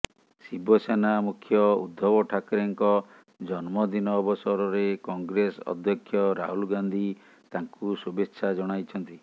ଶିବସେନା ମୁଖ୍ୟ ଉଦ୍ଧବ ଠାକରେଙ୍କ ଜନ୍ମଦିନ ଅବସରରେ କଂଗ୍ରେସ ଅଧ୍ୟକ୍ଷ ରାହୁଲ ଗାନ୍ଧି ତାଙ୍କୁ ଶୁଭେଚ୍ଛା ଜଣାଇଛନ୍ତି